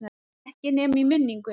Ekki nema í minningunni.